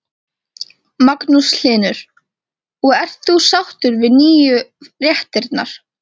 Magnús Hlynur: Og ert þú sáttur við nýju réttirnar?